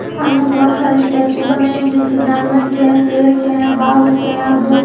सामने बहुत सारे स्टैचू बने हैं जो कि जानवर के हैं शेर के हैं बाघ के हैं और दो--